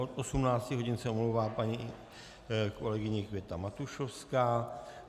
Od 18 hodin se omlouvá paní kolegyně Květa Matušovská.